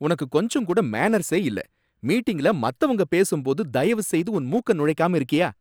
உனக்கு கொஞ்சம்கூட மேனர்ஸே இல்ல, மீட்டிங்ல மத்தவங்க பேசும்போது தயவுசெய்து உன் மூக்க நுழைக்காம இருக்கயா!